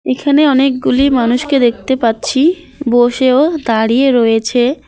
এখানে অনেকগুলি মানুষকে দেখতে পাচ্ছি বসে ও দাঁড়িয়ে রয়েছে।